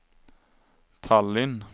Tallinn